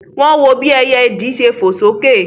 Wọ́n wọ bí ẹyẹ ìdì ṣe fò sókè